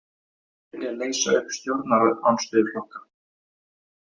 Vilja leysa upp stjórnarandstöðuflokka